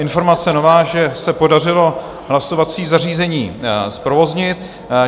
Informace nová, že se podařilo hlasovací zařízení zprovoznit.